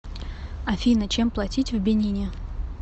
афина чем платить в бенине